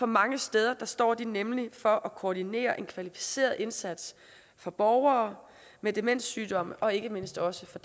mange steder står de nemlig for at koordinere en kvalificeret indsats for borgere med demenssygdomme og ikke mindst også for